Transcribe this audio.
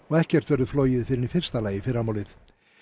og ekkert verður flogið fyrr en í fyrsta lagi í fyrramálið